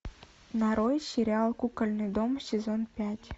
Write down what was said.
нарой сериал кукольный дом сезон пять